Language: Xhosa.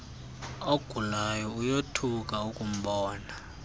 ogulayo uyothuka akumbona